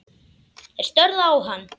Þeir störðu á hann.